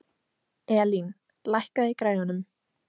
Elín, lækkaðu í græjunum.